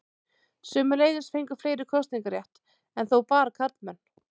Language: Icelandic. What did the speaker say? Sömuleiðis fengu fleiri kosningarétt, enn þó bara karlmenn.